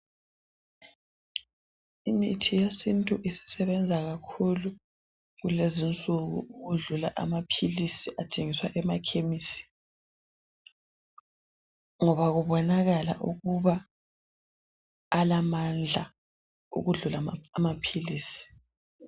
Imithi yesintu isisebenza kakhulu kulezinsuku ukudlula amaphilisi athengiswa emakhemisi ngoba kubonakala ukuba alamandla ukudlula amaphilisi.